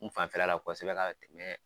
N fafɛla la kosɛbɛ ka